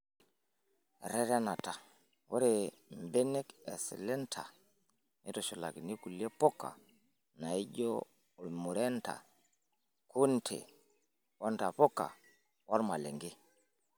Eretenata:Ore mbenek eslender neitushulakini kulie puka naijio ormurenda, kunde ontapuka ormalenge.